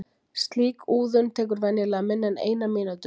Slík úðun tekur venjulega minna en eina mínútu.